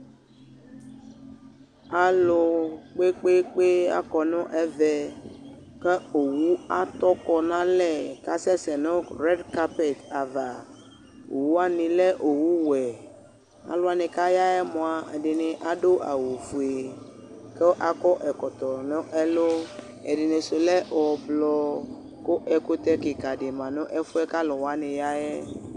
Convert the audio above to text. ɑlukpekpekpe ɑkɔneve ku owu ɑtɔkonɑle kasese nu redi kapet ɑva owuwani le owuwe ɑluwani kɑyayemoa ɛdini aduawu ɔfue ku ɑkɔ ɛkɔtɔ nelu ɛdinisu le ɔvlo ku ɛkute kikadi mɑnefue kaluwaniyae